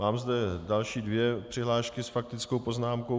Mám zde další dvě přihlášky s faktickou poznámkou.